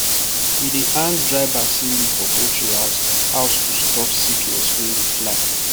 we dey hang dry basil leaf for poultry house house to stop sickness wey dey fly